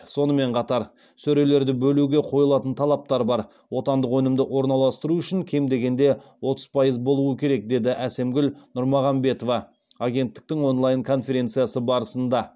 сонымен қатар сөрелерді бөлуге қойылатын талаптар бар отандық өнімді орналастыру үшін кем дегенде отыз пайыз болуы керек деді әсемгүл нұрмағанбетова агенттіктің онлайн конференциясы барысында